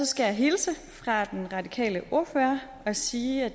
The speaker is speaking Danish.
skal jeg hilse fra den radikale ordfører og sige at